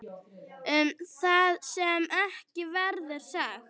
Það sem ekki verður sagt